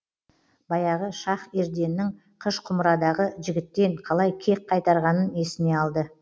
баяғы шах ерденнің қыш құмырадағы жігіттен қалай кек қайтарғанын есіне алды